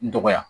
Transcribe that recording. Dɔgɔya